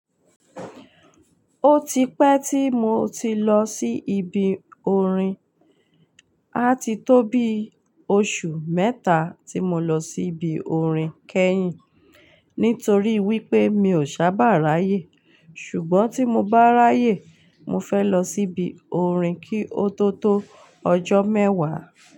Ó ti pẹ́ tí mo ti lọ sí ibi orin, á ti tó bí oṣù mẹ́ta tí mo lọ sí ibi orin kẹ́yìn. Nítorí wípé mi ò sábà ráyè, ṣùgbọ́n tí mo bá ráyè, mo fẹ́ lọ síbi orin kí ó tó tó ọjọ́ mẹ́wàá.